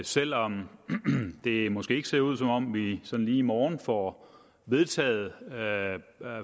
selv om det måske ikke ser ud som om vi sådan lige i morgen får vedtaget